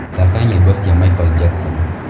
thaka nyīmbo cīa michael jackson